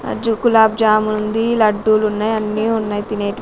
కులాబ్ జాముంది లడ్డూలున్నాయ్ అన్నీ ఉన్నాయ్ తినేటివ్--